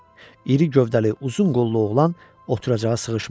İri gövdəli, uzun qollu oğlan oturacağa sığışmırdı.